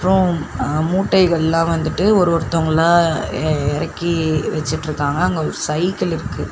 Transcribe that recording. அப்றோ அ முட்டைகல்லா வந்துட்டு ஒரு ஒருதவுங்களா ஏறக்கி வச்சிட்ருக்காங்க அங்க ஒரு சைக்கிள் இருக்கு.